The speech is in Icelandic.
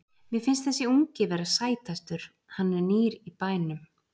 Mér finnst þessi ungi vera sætastur, hann er nýr í bænum.